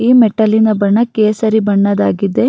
ಈ ಮೆಟ್ಟಲಿನ ಬಣ್ಣ ಕೇಸರಿ ಬಣ್ಣದಾಗಿದೆ.